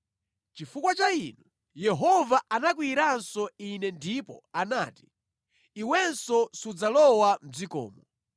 Chifukwa cha inu, Yehova anakwiyiranso ine ndipo anati, “Iwenso sudzalowa mʼdzikomo.